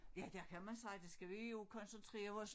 Ja der kan man sige der skal vi også koncentrere os